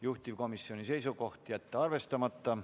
Juhtivkomisjoni seisukoht on jätta see arvestamata.